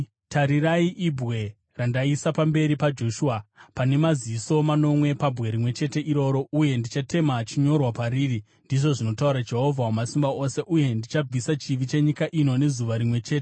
Tarirai ibwe randaisa pamberi paJoshua! Pane maziso manomwe pabwe rimwe chete iroro, uye ndichatema chinyorwa pariri,’ ndizvo zvinotaura Jehovha Wamasimba Ose, ‘uye ndichabvisa chivi chenyika ino nezuva rimwe chete.